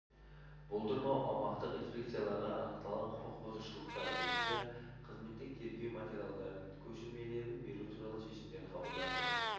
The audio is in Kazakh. болдырмау аумақтық инспекцияларға анықталған құқық бұзушылықтар бойынша қызметтік тергеу материалдардың көшірмелерін беру туралы шешімдер қабылданды